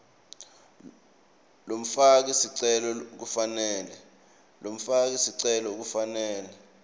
lomfaki sicelo kufanele